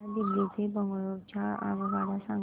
मला दिल्ली ते बंगळूरू च्या आगगाडया सांगा